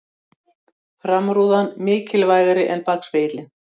Framrúðan mikilvægari en bakspegillinn